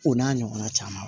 O n'a ɲɔgɔnna caman